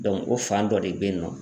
Dɔnku o fan dɔ de be yen nɔ